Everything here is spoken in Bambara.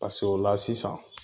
paseke ola sisan